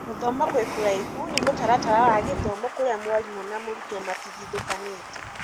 gũthoma wĩ kũraihu ni mũtaratara wa gĩthomo kuria mwarimũ na mũrutwo matigithũkanĩte.